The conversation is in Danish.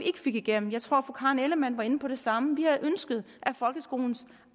fik igennem jeg tror fru karen ellemann var inde på det samme vi havde ønsket at folkeskolens